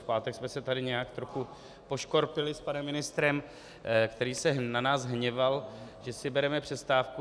V pátek jsme se tady nějak trochu poškorpili s panem ministrem, který se na nás hněval, že si bereme přestávku.